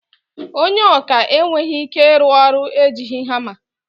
Ònye ọkà enweghị ike ịrụ ọrụ ejighi hama.